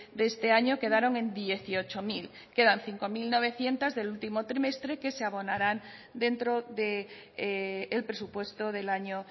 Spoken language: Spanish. de este año quedaron en dieciocho mil quedan cinco mil novecientos del último trimestre que se abonarán dentro del presupuesto del año